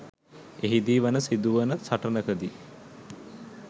එහිදී වන සිදු වන සටනකදී